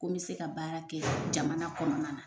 Ko me se ka baara kɛ jamana kɔnɔna na.